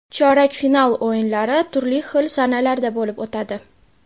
Chorak final o‘yinlari turli xil sanalarda bo‘lib o‘tadi.